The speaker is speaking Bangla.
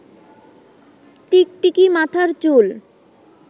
টিকটিকি, মাথার চুল